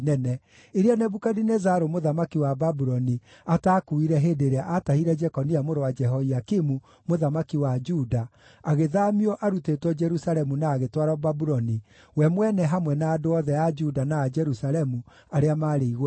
iria Nebukadinezaru mũthamaki wa Babuloni ataakuuire hĩndĩ ĩrĩa aatahire Jekonia mũrũ wa Jehoiakimu mũthamaki wa Juda agĩthaamio arutĩtwo Jerusalemu na agĩtwarwo Babuloni, we mwene hamwe na andũ othe a Juda na a Jerusalemu arĩa maarĩ igweta: